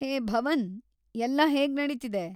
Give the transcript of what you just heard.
ಹೇ ಭವನ್‌, ಎಲ್ಲಾ ಹೇಗ್ ನಡೀತಿದೆ?